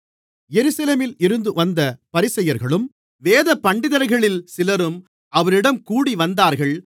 எருசலேமில் இருந்து வந்த பரிசேயர்களும் வேதபண்டிதர்களில் சிலரும் அவரிடம் கூடிவந்தார்கள்